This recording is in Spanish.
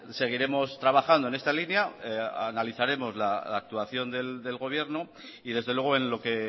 seguiremos trabajando en esta línea analizaremos la actuación del gobierno y desde luego en lo que